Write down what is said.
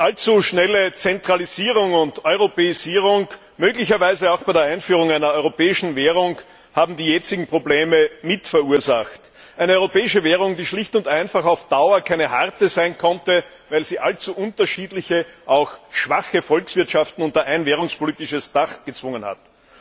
Allzu schnelle Zentralisierung und Europäisierung, möglicherweise auch bei der Einführung einer europäischen Währung, haben die jetzigen Probleme mit verursacht eine europäische Währung, die schlicht und einfach auf Dauer keine harte sein konnte, weil sie allzu unterschiedliche, auch schwache Volkswirtschaften unter ein währungspolitisches Dach gezwungen hat.